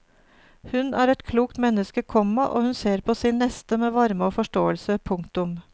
Hun er et klokt menneske, komma og hun ser på sin neste med varme og forståelse. punktum